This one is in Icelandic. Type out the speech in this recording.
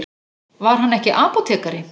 Var hann ekki apótekari?